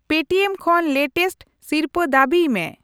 Paytm ᱠᱷᱚᱱ latest ᱥᱤᱨᱯᱟᱹ ᱫᱟᱹᱵᱤᱭ ᱢᱮ ᱾